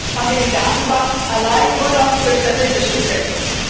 Zum Schluss haben wir die Datenbank nur noch für statistische Zwecke.